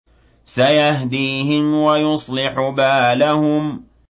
سَيَهْدِيهِمْ وَيُصْلِحُ بَالَهُمْ